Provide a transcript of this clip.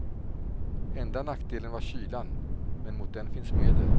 Enda nackdelen var kylan, men mot den finns medel.